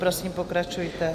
Prosím, pokračujte.